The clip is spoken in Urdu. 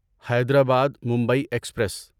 حیدرآباد ممبئی ایکسپریس